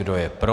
Kdo je pro?